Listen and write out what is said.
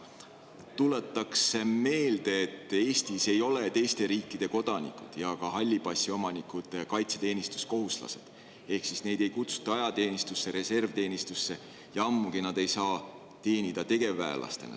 Tuletan meelde, et Eestis ei ole teiste riikide kodanikud ja halli passi omanikud kaitseteenistuskohuslased, neid ei kutsuta ajateenistusse, reservteenistusse, ja ammugi ei saa nad teenida tegevväelastena.